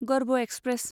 गर्भ एक्सप्रेस